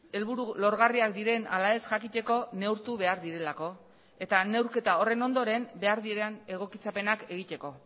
helburu lorgarriak diren ala ez jakiteko neurtu behar direlako eta neurketa horren ondoren behar diren egokitzapenak egiteko